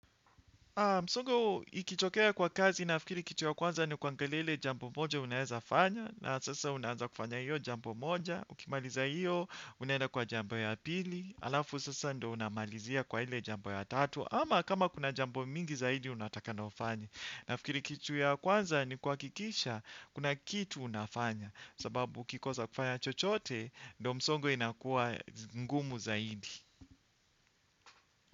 Msongo ikichokea kwa kazi na fikiri kitu ya kwanza ni kuangalia ile jambo moja unaweza fanya na sasa unaweza kufanya hiyo jambo moja, ukimaliza iyo unaenda kwa jambo ya pili, alafu sasa ndo unamalizia kwa ile jambo ya tatu ama kama kuna jambo mingi zaidi unatakana ufanye. Na fikiri kitu ya kwanza ni kuhakikisha kuna kitu unafanya sababu ukikosa kufanya chochote ndio msongo inakuwa ngumu zaidi.